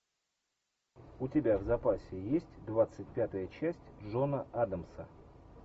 у тебя в запасе есть двадцать пятая часть джона адамса